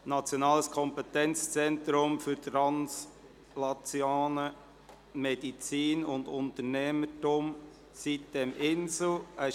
Nationales Kompetenzzentrum für translationale Medizin und Unternehmertum (sitem-Insel AG).